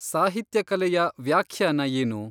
ಸಾಹಿತ್ಯ ಕಲೆಯ ವ್ಯಾಖ್ಯಾನ ಏನು?